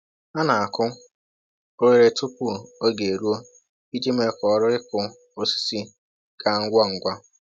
Ha na-akụ oghere tupu oge eruo iji mee ka ọrụ ịkụ osisi gaa ngwa ngwa